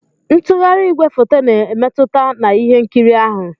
Ntugharị igwefoto na-emmetụta na ihe nkiri ahụ.